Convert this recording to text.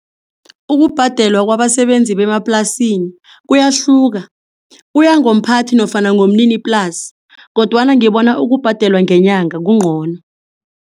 Ukubhadelwa kwabasebenzi bemaplasini kuyahluka kuya ngomphathi nofana ngomniniplasi kodwana ngibona ukubhadelwa ngenyanga kungcono.